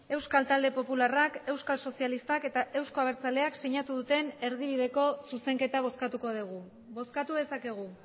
euskal talde popularrak euskal sozialistak eta euzko abertzaleak sinatu duten erdibideko zuzenketa bozkatuko dugu bozkatu dezakegu